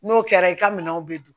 N'o kɛra i ka minɛnw bɛ dun